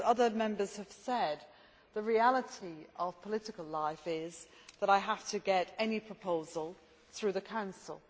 But, as other Members have said, the reality of political life is that I have to get any proposal through the Council.